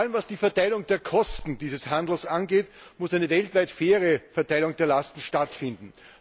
Vor allem, was die Verteilung der Kosten dieses Handels angeht, muss eine weltweit faire Verteilung der Lasten stattfinden.